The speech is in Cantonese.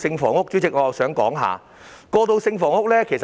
此外，我想談談過渡性房屋。